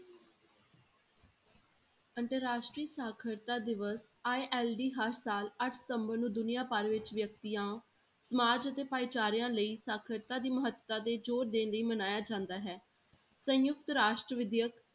ਅੰਤਰ ਰਾਸ਼ਟਰੀ ਸਾਖ਼ਰਤਾ ਦਿਵਸ ILD ਹਰ ਸਾਲ ਅੱਠ ਸਤੰਬਰ ਨੂੰ ਦੁਨੀਆ ਭਰ ਵਿੱਚ ਵਿਅਕਤੀਆਂ ਸਮਾਜ ਤੇ ਭਾਈਚਾਰਿਆਂ ਲਈ ਸਾਖ਼ਰਤਾ ਦੀ ਮਹੱਤਤਾ ਤੇ ਜ਼ੋਰ ਦੇਣ ਲਈ ਮਨਾਇਆ ਜਾਂਦਾ ਹੈ, ਸੰਯੁਕਤ ਰਾਸ਼ਟਰ ਵਿਦਿਅਕ